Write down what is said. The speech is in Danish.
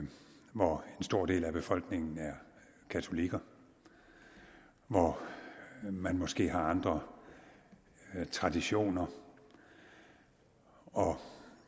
hvor en stor del af befolkningen er katolikker hvor man måske har andre traditioner og at